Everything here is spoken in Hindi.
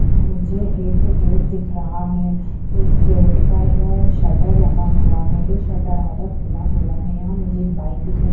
मुझे एक गेट दिख रहा है इस गेट पर अ शटर लगा हुआ है ये शटर आधा खुला हुआ है यहाँ मुझे एक बाइक दिखाई --